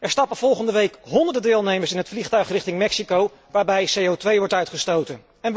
Er stappen volgende week honderden deelnemers in het vliegtuig richting Mexico, waarbij CO wordt uitgestoten.